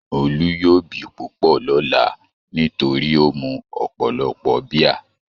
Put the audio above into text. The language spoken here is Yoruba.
Olú yóò bì púpọ̀ lọ́lá nítorí ó mu ọ̀pọ̀lọpọ̀ bíà.